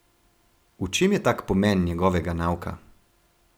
V čem je tak pomen njegovega nauka?